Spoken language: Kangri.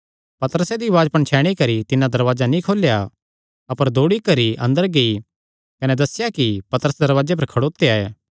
पतरसे दी उआज़ पणछैणी करी तिन्नै दरवाजा नीं खोलेया अपर दौड़ी करी अंदर गेई कने दस्सेया कि पतरस दरवाजे पर खड़ोत्या ऐ